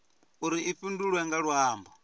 uri i fhindulwe nga luambo